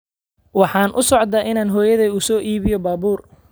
Waxaan u socdaa inaan hooyaday u soo iibiyo baabuur